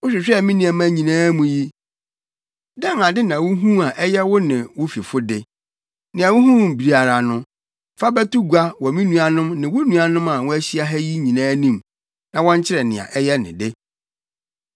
Wohwehwɛɛ me nneɛma nyinaa mu yi, dɛn ade na wuhuu a ɛyɛ wo ne wo fifo de? Nea wuhuu biara no, fa bɛto gua wɔ me nuanom ne wo nuanom a wɔahyia ha yi nyinaa anim, na wɔnkyerɛ nea ɛyɛ ne de.